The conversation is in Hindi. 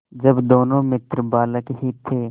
जब दोनों मित्र बालक ही थे